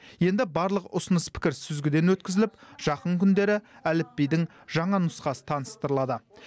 енді барлық ұсыныс пікір сүзгіден өткізіліп жақын күндері әліпбидің жаңа нұсқасы таныстырылады